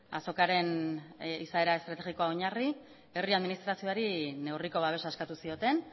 azokaren izaera estrategikoa oinarri herri administrazioari neurriko babesa eskatu zioten